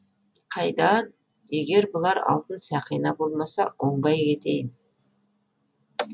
қайда ан егер бұлар алтын сақина болмаса оңбай ақ кетейін